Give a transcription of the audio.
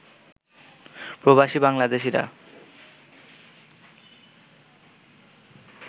প্রবাসী বাংলাদেশিরা